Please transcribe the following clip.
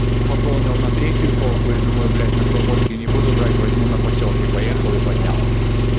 пополнил на третью полку и думаю блять на слободке не буду брать возьму на посёлке поехал и поднял